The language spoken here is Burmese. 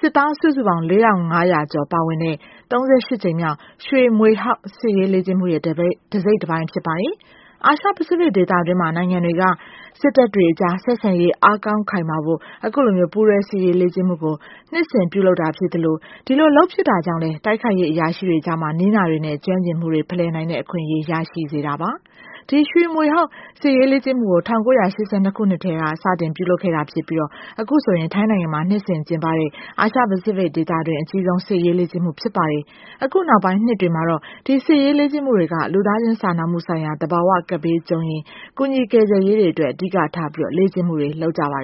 စစ်သားစုစုပေါင်း ၄၅၀၀ ကျော် ပါဝင်တဲ့ ၃၈ ကြိမ်မြောက် ရွှေမြွေဟောက်စစ်ရေးလေ့ကျင့်မှုရဲ့ တစိတ်တပိုင်း ဖြစ်ပါတယ်။ အာရှ ပိစိဖိတ်ဒေသတွင်း နိုင်ငံတွေက စစ်တပ်တွေအကြား ဆက်ဆံရေး အားကောင်းခိုင်မာဖို့ အခုလို ပူးတွဲ စစ်ရေးလေ့ကျင့်မှုကို နှစ်စဉ်ပြုလုပ်တာ ဖြစ်ပြီး ဒီလိုလုပ်ဖြစ်တာကြောင့်လည်း တိုက်ခိုက်ရေးအရာရှိတွေကြား နည်းနာတွေနဲ့ ကျွမ်းကျင်မှုတွေ ဖလှယ်နိုင်တဲ့ အခွင့်အရေးရရှိစေတာပါ။ ဒီရွှေမြွေဟောက်စစ်ရေးလေ့ကျင့်မှုကို ၁၉၈၂ ခုနှစ်ကတည်းက စတင် ပြုလုပ်ခဲ့တာ ဖြစ်ပြီး အခုဆိုရင် ထိုင်း နိုင်ငံမှာ နှစ်စဉ်ကျင်းပတဲ့ အာရှ ပိစိဖိတ်ဒေသတွင်း အကြီးဆုံးစစ်ရေးလေ့ကျင့်မှု ဖြစ်ပါတယ်။ အခုနောက်ပိုင်း နှစ်တွေမှာတော့ ဒီစစ်ရေးလေ့ကျင့်မှုတွေက လူသားချင်းစာနာမှုဆိုင်ရာနဲ့ သဘာဝကပ်ဘေးကြုံရင် ကူညီ ကယ်ဆယ်ရေးတွေအတွက် အဓိကထားပြီး လေ့ကျင့်မှုတွေ လုပ်ကြပါတယ